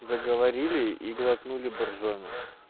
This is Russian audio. заговорили и глотнули боржоми